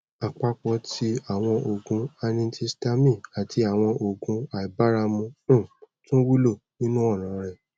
apapo ti awọn oogun antihistamine ati awọn oogun aibaramu um tun wulo ninu ọran rẹ